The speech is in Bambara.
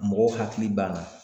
Mɔgɔw hakili b'an na.